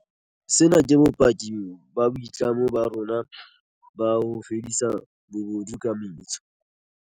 Sena ke bopaki ba boitlamo ba rona ba ho fedisa bobodu ka metso.